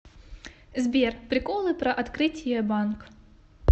сбер приколы про открытие банк